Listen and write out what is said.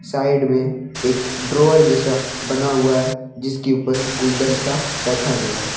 Side में एक drawer जैसा बना हुआ है जिसके ऊपर गुलदस्ता रखा गया है।